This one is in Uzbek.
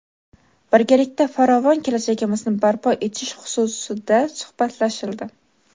birgalikda farovon kelajagimizni barpo etish xususida suhbatlashildi.